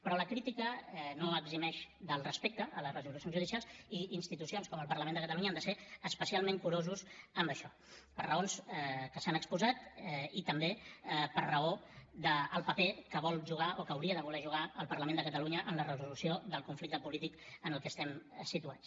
però la crítica no eximeix del respecte a les resolucions judicials i institucions com el parlament de catalunya han de ser especialment curoses amb això per raons que s’han exposat i també per raó del paper que vol jugar o que hauria de voler jugar el parlament de catalunya en la resolució del conflicte polític en el que estem situats